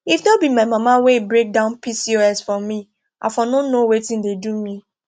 if no be my mama wey break down pcos for me i for no know wetin dey do me